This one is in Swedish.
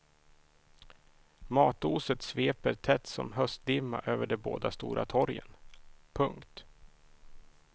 Matoset sveper tätt som höstdimma över de båda stora torgen. punkt